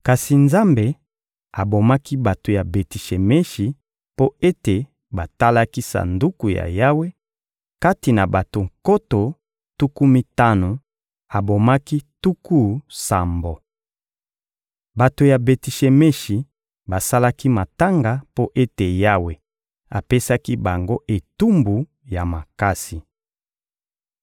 Kasi Nzambe abomaki bato ya Beti-Shemeshi mpo ete batalaki Sanduku ya Yawe: kati na bato nkoto tuku mitano, abomaki tuku sambo. Bato ya Beti-Shemeshi basalaki matanga mpo ete Yawe apesaki bango etumbu ya makasi.